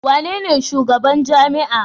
Wanene shugaban jami'a?